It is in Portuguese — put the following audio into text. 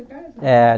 Por carta. É